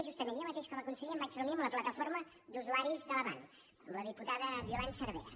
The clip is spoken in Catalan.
justament jo mateix com a conseller em vaig reunir amb la plataforma d’usuaris de l’avant amb la diputada violant cervera